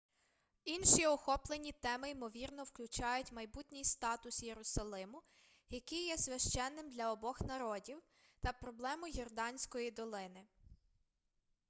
інші охоплені теми ймовірно включають майбутній статус єрусалиму який є священним для обох народів та проблему йорданської долини